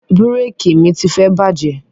Bíréékì mi tifẹ bàjẹ́